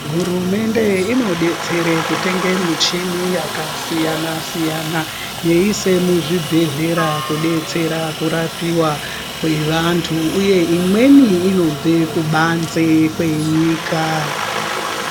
Hurumende inodetsere kutenge michini yakasiyana siyana yeise muzvibhedhlera kudetsera kurapiwa kwevanthu uye imweni inobve kubanze kwenyika.